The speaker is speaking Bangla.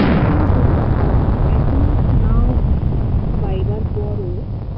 কিন্তু একমাস নাও বাইবার পরও